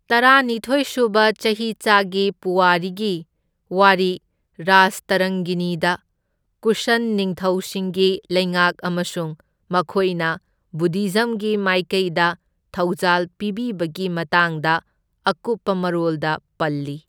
ꯇꯔꯥꯅꯤꯊꯣꯢ ꯁꯨꯕ ꯆꯍꯤꯆꯥꯒꯤ ꯄꯨꯋꯥꯔꯤꯒꯤ ꯋꯥꯔꯤ ꯔꯥꯖꯇꯔꯪꯒꯤꯅꯤꯗ ꯀꯨꯁꯟ ꯅꯤꯡꯊꯧꯁꯤꯡꯒꯤ ꯂꯩꯉꯥꯛ ꯑꯃꯁꯨꯡ ꯃꯈꯣꯏꯅ ꯕꯨꯙꯤꯖꯝꯒꯤ ꯃꯥꯏꯀꯩꯗ ꯊꯧꯖꯥꯜ ꯄꯤꯕꯤꯕꯒꯤ ꯃꯇꯥꯡꯗ ꯑꯀꯨꯞꯄ ꯃꯔꯣꯜꯗ ꯄꯜꯂꯤ꯫